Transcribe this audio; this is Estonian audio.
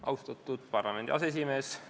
Austatud parlamendi aseesimees!